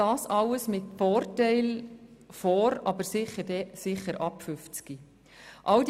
alles mit Vorteil vor, aber sicher ab 50 Jahren.